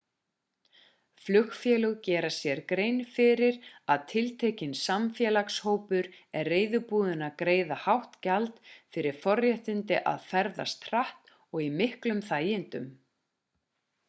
flugfélög gera sér grein fyrir að tiltekinn samfélagshópur er reiðubúinn að greiða hátt gjald fyrir forréttindin að ferðast hratt og í miklum þægindum